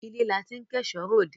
Ilé la ti ń kẹ́ṣọ̀ọ́ ròde.